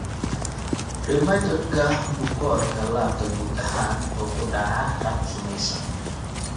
Rheumatoid-ka bukoorka laabta guud ahaan wuxuu ku dhacaa qaab summaysan.